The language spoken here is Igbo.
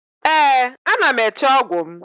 Ee, ana m eche ọgwụ m